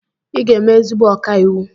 Ị ga-eme ezigbo ọkàiwu.